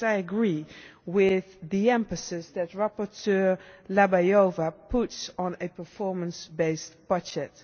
So I agree with the emphasis that rapporteur Dlabajová puts on a performance-based budget.